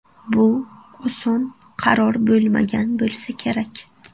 Bu oson qaror bo‘lmagan bo‘lsa kerak.